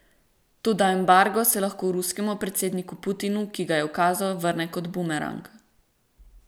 Toda embargo se lahko ruskemu predsedniku Putinu, ki ga je ukazal, vrne kot bumerang.